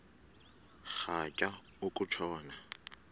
rhatya uku tshona